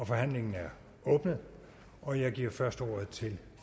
forhandlingen er åbnet og jeg giver først ordet til